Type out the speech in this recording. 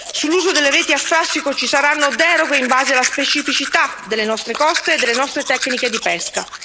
Sull'uso delle reti a strascico ci saranno deroghe in base alla specificità delle nostre coste e delle nostre tecniche di pesca.